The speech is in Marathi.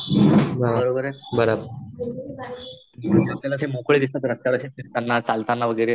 मोकळे दिसतात रस्त्याने अशे फिरताना, चालताना वगैरे.